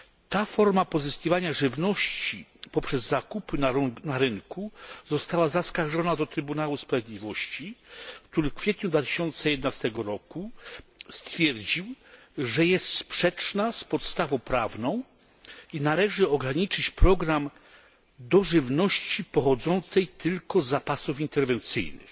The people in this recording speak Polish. Ta forma pozyskiwania żywności poprzez zakup na rynku została zaskarżona do Trybunału Sprawiedliwości, który w kwietniu 2011 roku stwierdził, że jest sprzeczna z podstawą prawną i należy ograniczyć program do żywności pochodzącej tylko z zapasów interwencyjnych,